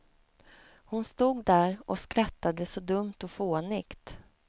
Hon stod där och skrattade så dumt och fånigt.